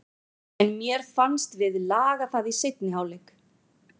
En mér fannst við laga það í seinni hálfleik.